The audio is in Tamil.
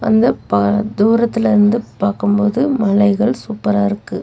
இந்தப்பா தூரத்திலிருந்து பாக்கும்போது மலைகள் சூப்பரா இருக்கு.